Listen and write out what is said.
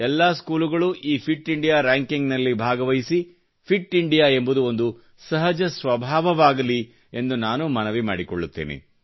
ಎಲ್ಲಾ ಸ್ಕೂಲುಗಳು ಈ ಫಿಟ್ ಇಂಡಿಯಾ ರ್ಯಾಂಕಿಂಗ್ ನಲ್ಲಿ ಭಾಗವಹಿಸಿ ಫಿಟ್ ಇಂಡಿಯಾ ಎಂಬುದು ಒಂದು ಸಹಜ ಸ್ವಭಾವವಾಗಲಿ ಎಂದು ನಾನು ಮನವಿ ಮಾಡಿಕೊಳ್ಳುತ್ತೇನೆ